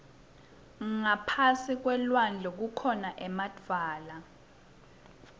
ngaphasi kwelulwandle kukhona emadvwala